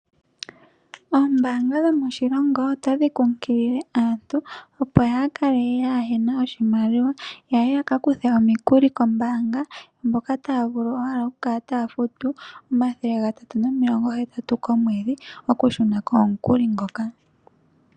Oombaanga dhomoshilongo otadhi kumagidha aantu, opo kaaya kale kaa ye na oshimaliwa, ya ye ya ka kuthe omikuli kombaanga, hoka taya vulu owala okukala taya futu N$ 380 komwedhi okushuna ko omukuli ngoka.